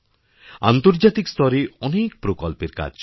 আন্তর্জাতিক স্তরে অনেক প্রকল্পের কাজ চলছে